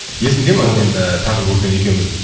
есіңде ме мен ыыы таңғы кофені екеуміз